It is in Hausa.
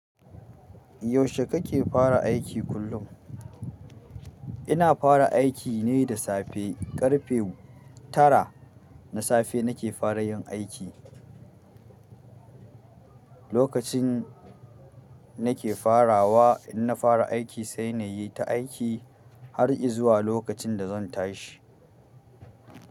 Yaushe kake fara aiki kullum? Ina fara aiki ne da safe. Ƙarfe tara na safe nake fara yin aiki. Lokacin nake farawa, in na fara aiki sai na yi ta aiki har i zuwa lokacin da zan tashi.